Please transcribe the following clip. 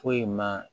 Foyi ma